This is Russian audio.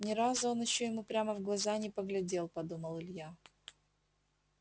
ни разу он ещё ему прямо в глаза не поглядел подумал илья